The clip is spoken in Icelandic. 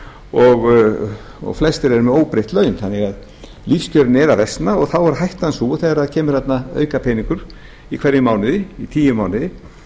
og flestir eru með óbreytt laun þannig að lífskjörin eru að versna og þá er hættan sú að þegar kemur þarna aukapeningur í hverjum mánuði í tíu mánuði